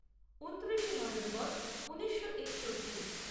ঊনত্রিশে নভেম্বর ঊনিশো একষট্টি